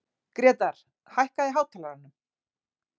Grétar, hækkaðu í hátalaranum.